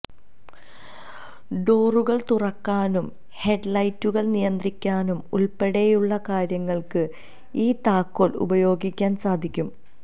ഡോറുകൾ തുറക്കാനും ഹെഡ്ലൈറ്റുകൾ നിയന്ത്രിക്കാനും ഉൾപ്പെടെയുള്ള കാര്യങ്ങൾക്ക് ഈ താക്കോൽ ഉപയോഗിക്കാൻ സാധിക്കും